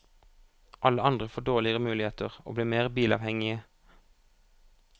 Alle andre får dårligere muligheter, og blir mer bilavhengige.